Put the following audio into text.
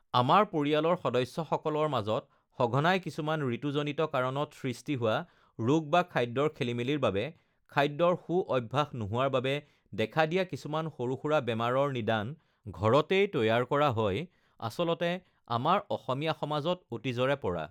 আমাৰ পৰিয়ালৰ সদস্য সকলৰ মাজত সঘনাই কিছুমান ঋতুজনিত কাৰণত সৃষ্টি হোৱা ৰোগ বা খাদ্যৰ খেলিমেলিৰ বাবে খাদ্যৰ সু অভ্যাস নোহোৱাৰ বাবে দেখা দিয়া কিছুমান সৰু-সুৰা বেমাৰৰ নিদান ঘৰতেই তৈয়াৰ কৰা হয় আচলতে আমাৰ অসমীয়া সমাজত অতীজৰে পৰা